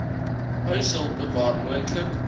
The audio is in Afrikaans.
huishulpe waar moontlik